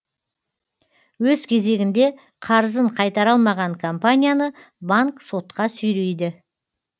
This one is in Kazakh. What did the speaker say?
өз кезегінде қарызын қайтара алмаған компанияны банк сотқа сүйрейді